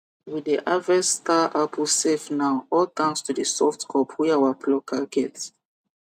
we dey harvest star apple safe now all thanks to the soft cup wey our plucker get